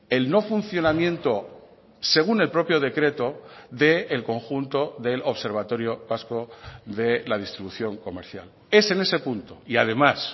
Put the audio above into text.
el no funcionamiento según el propio decreto del conjunto del observatorio vasco de la distribución comercial es en ese punto y además